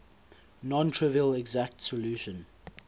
non trivial exact solution